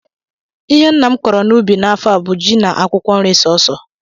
Ihe nna m kọrọ n'ubi n'afọ a bụ ji na akwụkwọ nri sọọsọ